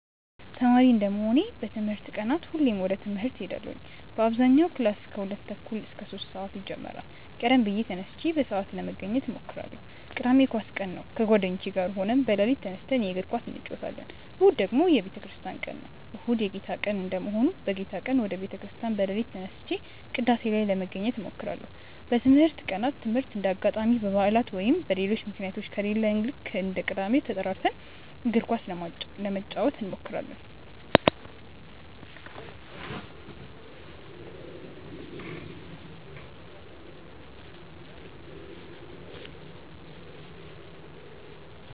ተማሪ እንደመሆኔ በትምህርት ቀናት ሁሌም ወደ ትምህርት እሄዳለው በአብዛኛው ክላስ ከሁለት ተኩል እስከ ሶስት ሰአት ይጀምራል ቀደም ብዬ ተነስቼ በሰአት ለመገኘት እሞክራለው። ቅዳሜ የኳስ ቀን ነው ከጓደኞቼ ጋር ሆነን በሌሊት ተነስተን የእግር ኳስ እንጨወታለን። እሁድ ደግሞ የቤተክርስቲያን ቀን ነው። እሁድ የጌታ ቀን እንደመሆኑ በጌታ ቀን ወደ ቤተ ክርስቲያን በሌሊት ተነስቼ ቅዳሴ ላይ ለመገኘት እሞክራለው። በትምህርት ቀናት ትምህርት እንደ አጋጣሚ በባዕላት ወይም በሌሎች ምክንያቶች ከሌለ ልክ እንደ ቅዳሜው ተጠራርተን እግር ኳስ ለመጫወት እንሞክራለው።